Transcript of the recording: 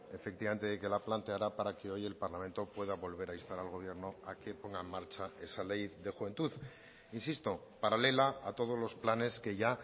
efectivamente de que la planteara para que hoy el parlamento pueda volver a instar al gobierno a que ponga en marcha esa ley de juventud insisto paralela a todos los planes que ya